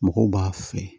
Mɔgɔw b'a fɛ